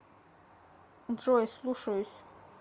джой слушаюсь